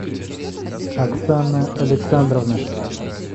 оксана александровна